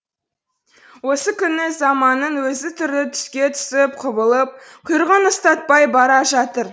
осы күні заманның өзі түрлі түске түсіп құбылып құйрығын ұстатпай бара жатыр